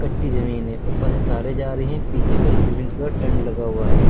कच्ची जमीन है ऊपर से तारे जा रही हैं पीछे कुछ ग्रीन कलर टेंट लगा हुआ है।